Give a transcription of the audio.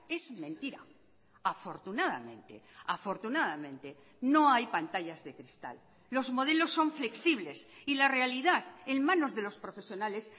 es mentira afortunadamente afortunadamente no hay pantallas de cristal los modelos son flexibles y la realidad en manos de los profesionales